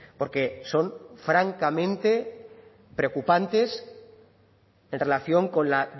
porque son francamente preocupantes en relación con la